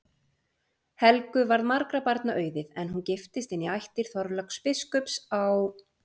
Helgu varð margra barna auðið, en hún giftist inn í ættir Þorláks biskups á